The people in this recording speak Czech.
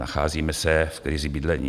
Nacházíme se v krizi bydlení.